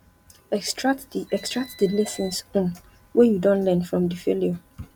extract di extract di lessons um wey you don learn from di failure